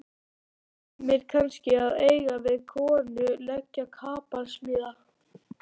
Sumir kannski að eiga við konu, leggja kapal, smíða.